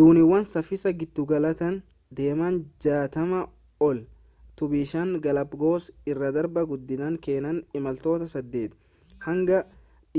dooniiwwan saffisa giddugalaatiin deeman 60 ol tu bishaan galaapaagoos irra darba guddinaan kanneen imaltoota 8 hanga